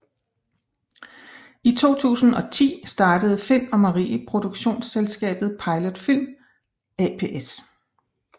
I 2010 startede Find og Marie produktionsselskabet Pilot Film ApS